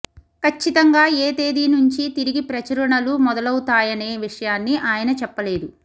కచ్చితంగా ఏ తేదీ నుంచి తిరిగి ప్రచురణలు మొదలౌవుతాయనే విషయాన్ని ఆయన చెప్పలేదు